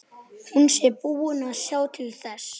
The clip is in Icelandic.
Hún sé búin að sjá til þess.